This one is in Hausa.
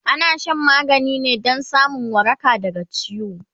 ana Shan magani ne Dan samun waraka daga ciwo